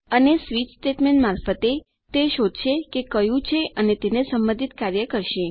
અને switch statement મારફતે તે શોધશે કે કયું છે અને તેને સંબંધિત કાર્ય કરશે